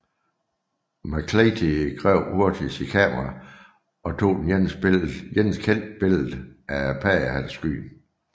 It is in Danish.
McClatchey greb hurtigt sit kamera og tog det eneste kendte billede af paddehatteskyen